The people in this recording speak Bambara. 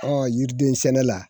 Ɔ yiriden sɛnɛ la